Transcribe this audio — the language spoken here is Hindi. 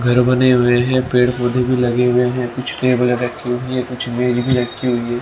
घर बने हुए हैं पेड़ पौधे भी लगे हुए हैं कुछ टेबले रखी हुई हैं कुछ मेज भी रखी हुई हैं।